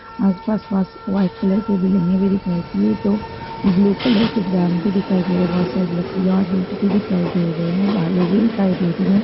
आसपास वास-व्हाइट कलर बिल्डिंगें भी दिखाई दे रही हैं तो ब्लू कलर के ड्रम भी दिखाई दे रहा हैं बहुत सारी लकड़ियां ईंट भी दिखाई दे रहे हैं बालू भी दिखाई दे रही हैं।